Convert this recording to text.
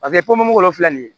Paseke ko mugu filɛ nin ye